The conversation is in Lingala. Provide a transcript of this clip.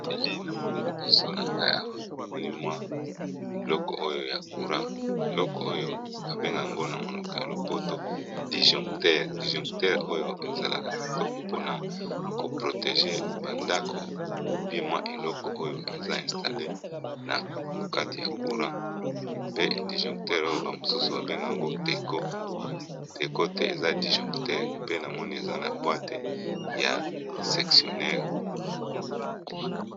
Elili namoni liboso nangai Awa namoni biloko ya courant biloko oyo babengaka yango na monoko ya lopoto dijoncteur ,ezalaka kitoko po na KO protège ndako ou bien eloko oyo eza installer nakati courant pe dijoncteur oyo bamosusu ba bengaka yango TECO, TECO te eza dijoncteur pe namoni eza na boite ya sectionneur.